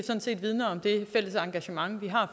vidner om det fælles engagement vi har